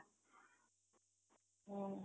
ହୁଁ